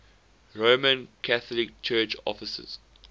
roman catholic church offices